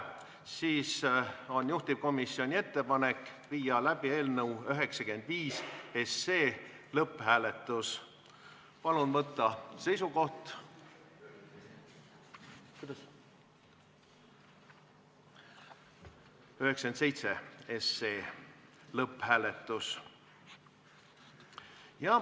Sellisel juhul on juhtivkomisjoni ettepanek viia läbi eelnõu 97 lõpphääletus.